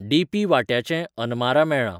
DP. वांट्याचें अनमारा मेळ्ळां